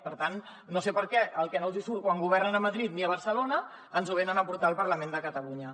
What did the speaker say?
per tant no sé per què el que no els hi surt quan governen a madrid ni a barcelona ens ho venen a portar al parlament de catalunya